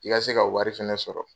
I ka se ka wari fɛnɛ sɔrɔ.